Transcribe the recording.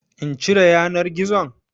In cire yanar gizon?